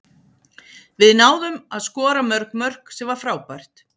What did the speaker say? Við náðum að skora mörg mörk, sem var frábært.